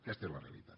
aquesta és la realitat